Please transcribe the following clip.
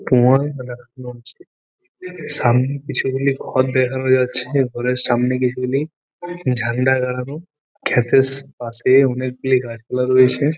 সামনে কিছু গুলি ঘর দেখানো যাচ্ছে ঘরের সামনে কিছুগুলি ঝান্ডা গাড়ানো তারবেশ পাশেই অনেকগুলি গাছপালা রয়েছে ।